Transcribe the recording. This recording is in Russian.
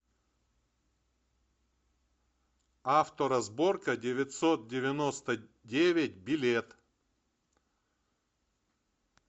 авторазборка девятьсот девяносто девять билет